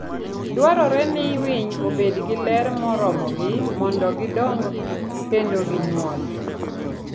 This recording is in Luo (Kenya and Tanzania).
Dwarore ni winy obed gi ler moromogi mondo gidong kendo ginyuol.